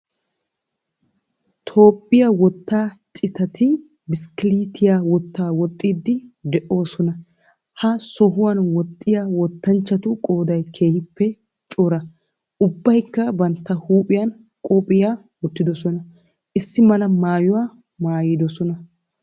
Toophphiya wottaa citati bishkkiliitiya wottaa woxxiiddi de'oosona. Ha sohuwan woxxiya wottanchchatu qooday keehippe cora. Ubbaykka bantta huuphiyan qophiya wottidosona. Issi mala maayuwa maayidosona.